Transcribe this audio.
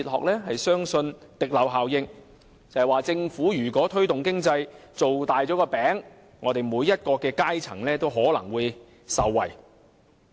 就是說，如果政府推動經濟，把"餅"造大了，每個階層也可能會受惠。